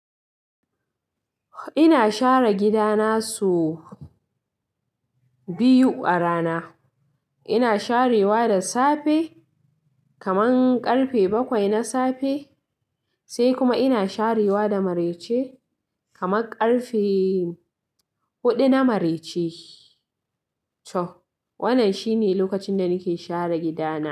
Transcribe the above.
Ina share gida na sau biyu a rana. Ina sharewa da safe kaman ƙarfe bakwai na safe, sai kuma ina sharewa da marece kaman ƙarfe huɗu na marece. To, wannan shine lokacin da nake share gida na.